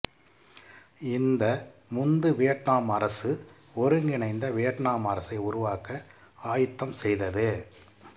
இந்த முந்து வியட்நாம் அரசு ஒருங்கிணைந்த வியட்நாம் அரசை உருவாக்க ஆயத்தம் செய்தது